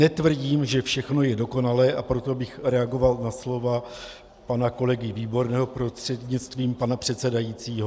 Netvrdím, že všechno je dokonalé, a proto bych reagoval na slova pana kolegy Výborného prostřednictvím pana předsedajícího.